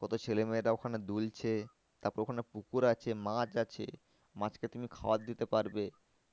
কত ছেলে মেয়েরা ওখানে দুলছে। তারপর ওখানে পুকুর আছে মাছ আছে। মাছকে তুমি খাবার দিতে পারবে,